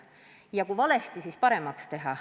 Kui asjad on valesti, siis tuleb need paremaks teha.